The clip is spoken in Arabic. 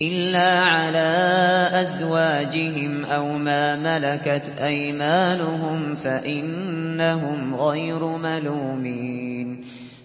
إِلَّا عَلَىٰ أَزْوَاجِهِمْ أَوْ مَا مَلَكَتْ أَيْمَانُهُمْ فَإِنَّهُمْ غَيْرُ مَلُومِينَ